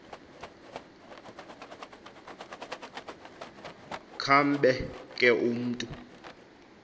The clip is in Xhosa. kambe ke umntu